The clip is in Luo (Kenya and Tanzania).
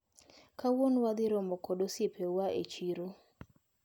Kawuono wadhiromo kod osiepewa e chiro.